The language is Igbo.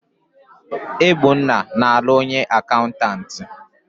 Egbuna na-alụ onye akaụntantị.